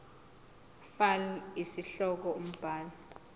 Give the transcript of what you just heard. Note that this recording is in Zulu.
fal isihloko umbhali